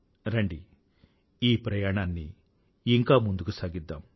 రండి ఈ ప్రయాణాన్ని ఇంకా ముందుకు సాగిద్దాం